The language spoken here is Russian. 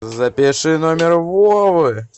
запиши номер вовы